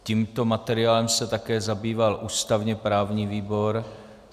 Tímto materiálem se také zabýval ústavně-právní výbor.